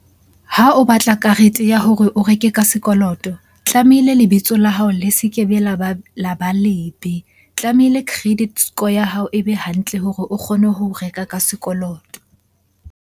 Ha o batla karete ya hore o reke ka sekoloto, tlamehile lebitso la hao le se kebe la ba lebe. Tlamehile credit score ya hao ebe hantle hore o kgone ho reka ka sekoloto.